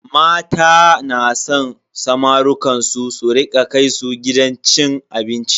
Mata na san samarukan su su rika kai su gidan cin abinci.